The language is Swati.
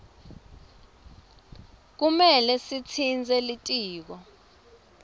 kumele sitsintse litiko